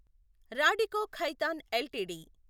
Radico Khaitan LTD